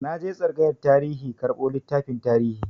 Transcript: Na je tsangayar tarihi karɓo littafin tarihi.